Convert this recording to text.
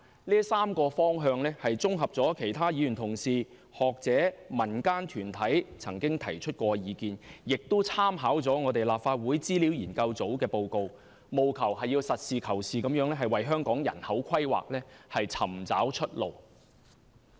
這3個方向綜合了其他議員同事、學者、民間團體曾提出的意見，亦參考了立法會資料研究組的報告，務求實事求是地為香港人口規劃尋找出路。